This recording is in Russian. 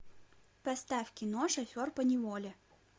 поставь кино шофер поневоле